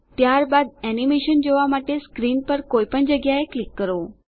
ત્યારબાદ એનીમેશન જોવાં માટે સ્ક્રીન પર કોઈપણ જગ્યાએ ક્લિક કરો